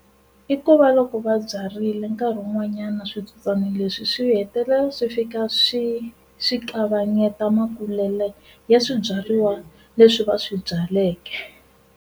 I ku va loko va byarile nkarhi wun'wanyana switsotswana leswi swi hetelela swi fika swi swi kavanyeta makulelo ya swibyariwa leswi va swi byaleke.